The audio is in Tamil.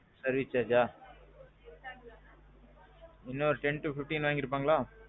service chargeஅ, என்ன ஒரு ten to fifteen வாங்கிருப்பங்களா?